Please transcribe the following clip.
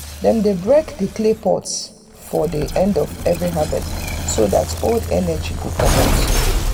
dem dey break um clay pot for the end of every harvest so that old energy go um comot. um